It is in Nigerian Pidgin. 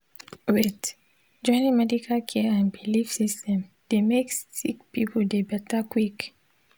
wait—joining medical care and bilif system dey mek sik pipul dey beta quick.